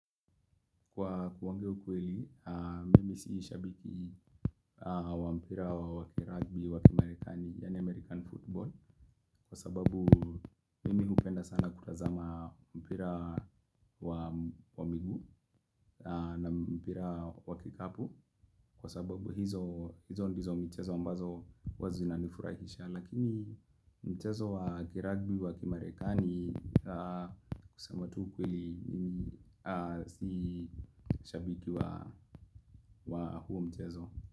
Kwa kuongea ukweli, mimi si shabiki wa mpira wakiragbi wa kimarekani yaani American football kwa sababu mimi hupenda sana kutazama mpira wa miguu na mpira wa kikapu kwa sababu hizo hizo ndizo michezo ambazo huwa zinanifurahisha lakini mchezo wakiragbi wa kimarekani kusema tu ukweli mimi si shabiki wa huo mchezo.